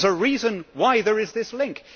There is a reason why there is this link.